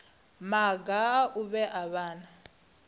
maga a u vhea vhana